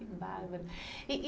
Que bárbaro! E, e